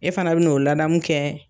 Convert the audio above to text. E fana bi na 'o ladamu kɛ